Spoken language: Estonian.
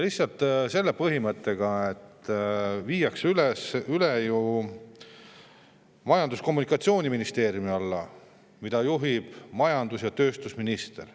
Lihtsalt see viiakse üle Majandus- ja Kommunikatsiooniministeeriumi alla, mida juhib majandus- ja tööstusminister.